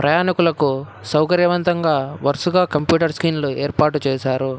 ప్రయాణికులకు సౌకర్యవంతంగా వరుసగా కంప్యూటర్ స్క్రీన్లు ఏర్పాటు చేశారు.